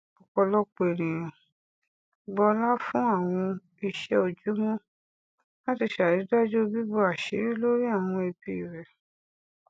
ọpọlọpọ ènìyàn gbọlá fún àwọn iṣẹ ojúmọ láti ṣàrídájú bíbò àṣírí lórí àwọn ẹbí rẹ